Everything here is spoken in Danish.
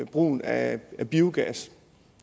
brugen af biogas